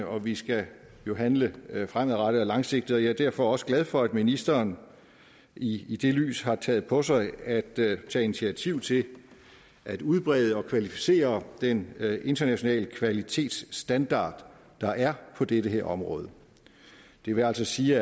og vi skal handle fremadrettet og langsigtet jeg er derfor også glad for at ministeren i i det lys har taget på sig at tage initiativ til at udbrede og kvalificere den internationale kvalitetsstandard der er på dette område det vil altså sige